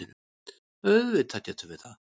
Auðvitað getum við það.